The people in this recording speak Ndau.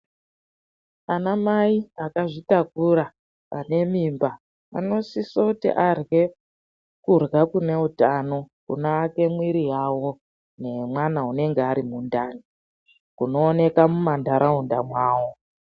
Anamayi akazvitakura, anemimba, anosiso kuti arye kurya kunewutano, kuno ake mwiri yawo, nemwana anenge arimundani, kunowoneka mumandarawunda mawo.